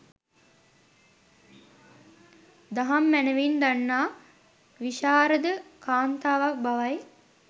දහම් මැනැවින් දන්නා, විශාරද කාන්තාවක් බවයි.